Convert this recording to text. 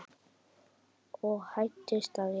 og hæddist að jafnvel